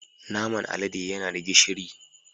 Naman alade yana da gishiri